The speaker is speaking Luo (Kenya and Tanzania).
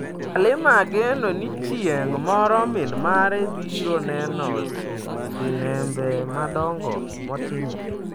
Halima geno ni chieng' moro min mare biro neno sinembe madongo motimo.